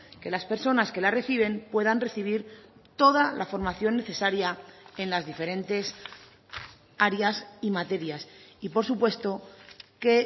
que las personas que la reciben puedan recibir toda la formación necesaria en las diferentes áreas y materias y por supuesto que